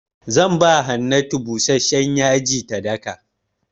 Zan ba Hannatu busashshen yaji ta daka.